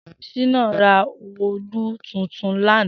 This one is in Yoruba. Shina rà òòlú tútún làná